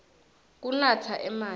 kunatsa emanti